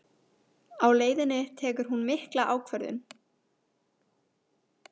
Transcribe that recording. Á leiðinni tekur hún mikla ákvörðun